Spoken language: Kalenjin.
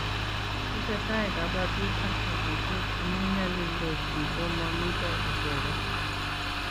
Tesetai kabatik ak batishet amu nyalildos biik ko mamito icheget